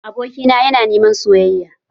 Abokina yana niman soyayya